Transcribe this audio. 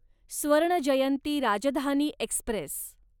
स्वर्ण जयंती राजधानी एक्स्प्रेस